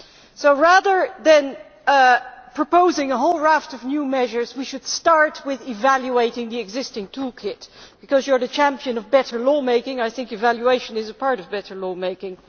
So rather than proposing a whole raft of new measures, we should start with evaluating the existing toolkit, because you are the champion of better lawmaking, and I think evaluation is a part of better lawmaking.